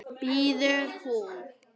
biður hún.